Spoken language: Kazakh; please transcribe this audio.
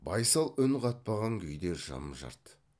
байсал үн қатпаған күйде жым жырт